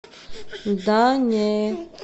да не